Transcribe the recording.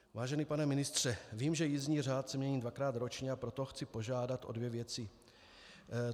Vážený pane ministře, vím, že jízdní řád se mění dvakrát ročně, a proto chci požádat o dvě věci.